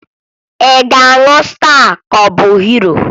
Ị ga-aṅụ Staa ka ọ bụ Hiro?